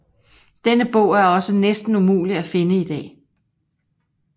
Denne bog er også næsten umuligt at finde i dag